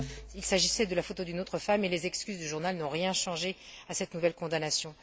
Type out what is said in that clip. Or, il s'agissait de la photo d'une autre femme et les excuses du journal n'ont rien changé à cette nouvelle condamnation.